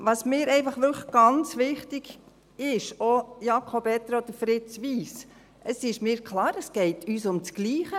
Was mir einfach ganz wichtig ist, Jakob Etter oder Fritz Wyss: Es ist mir klar, dass es uns ums Gleiche geht.